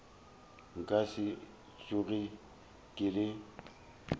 nka se tsoge ke le